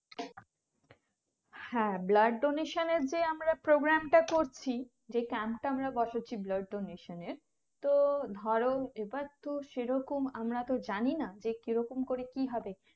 হ্যাঁ blood donation এর যে আমরা program টা করছি যে Camp টা আমরা বসাচ্ছি blood donation এর তো ধরো এবার তো সেরকম আমরা তো জানি না কিরকম করে কি হবে